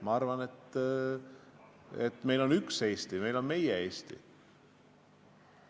Ma arvan, et meil on üks Eesti, meil on meie Eesti.